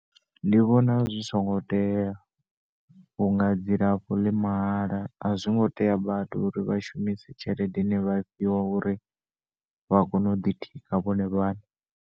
Ndi vhona zwi songo tea vhunga dzilafho ḽi mahala a zwingo tea vhathu uri vha shumise tshelede ine vha tea uri vha kone u ḓitika vhone vhaṋe.